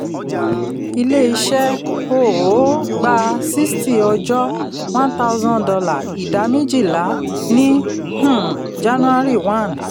ilé-iṣẹ́ um gba sixty ọjọ́ one thousand dollar idà méjìlá ní um january one